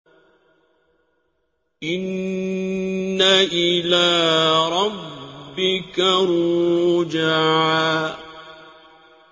إِنَّ إِلَىٰ رَبِّكَ الرُّجْعَىٰ